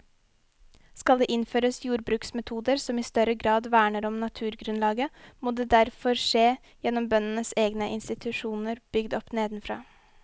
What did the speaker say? Skal det innføres jordbruksmetoder som i større grad verner om naturgrunnlaget, må det derfor skje gjennom bøndenes egne institusjoner bygd opp nedenfra.